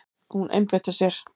Hún einbeitti sér.